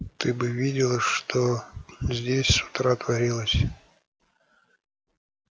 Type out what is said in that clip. ты бы видела что здесь с утра творилось